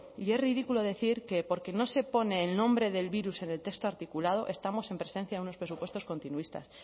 y es ridículo decir que porque no se pone el nombre del virus en el texto articulado estamos en presencia de unos presupuestos continuistas